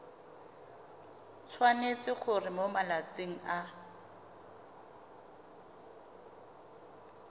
tshwanetse gore mo malatsing a